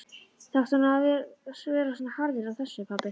Þarftu nú að vera svona harður á þessu, pabbi?